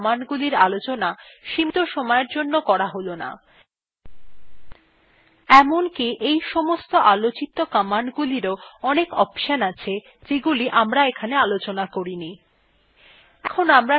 আলোচিত commandsগুলি ছাড়া বাকি অন্যান্য commandsগুলির আলোচনা সীমীত সময়ের জন্য করা হল না এমনকি এই সমস্ত commandsগুলিরও অনেক অপশনস আছে যেগুলি এখানে আলোচনা করা হয়েনি